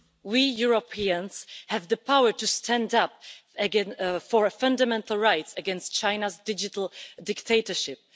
We Europeans have the power to stand up for fundamental rights against China's digital dictatorship.